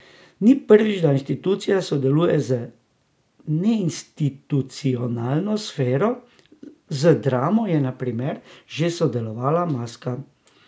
Ni prvič, da institucija sodeluje z neinstitucionalno sfero, z Dramo je na primer prej že sodelovala Maska.